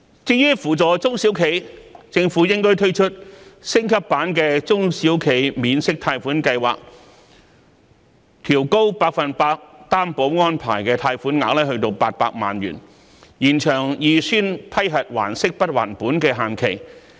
至於扶助中小企，政府應推出升級版的中小企免息貸款計劃，調高百分百擔保安排的貸款額至800萬元，延長預先批核還息不還本的限期。